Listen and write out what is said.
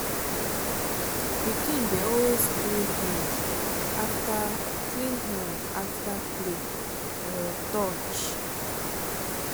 pikin dey always clean hand after clean hand after play or touch.